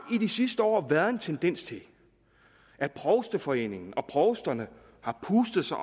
i de sidste år været en tendens til at provsteforeningen og provsterne har pustet sig